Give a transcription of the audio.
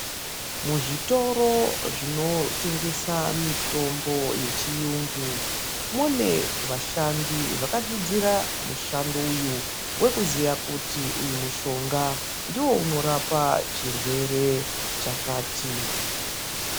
Mizvitoro inotengesa mitombo yechiyungu mune vashandi vakadzidzira mushando uyu wekuziya kuti uyu mushonga ndiwo unorapa chirwera chakati.